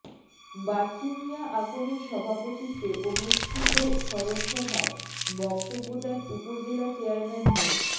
বাচ্চু মিয়া আকনের সভাপতিত্বে অনুষ্ঠিত স্মরণসভায় বক্তব্য দেন উপজেলা চেয়ারম্যান মো